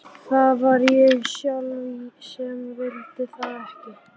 Það var ég sjálf sem vildi það ekki.